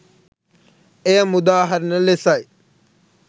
එය මුදාහරින ලෙසයි.